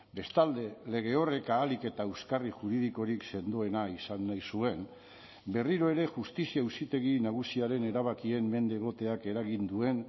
bestalde lege horrek ahalik eta euskarri juridikorik sendoena izan nahi zuen berriro ere justizia auzitegi nagusiaren erabakien mende egoteak eragin duen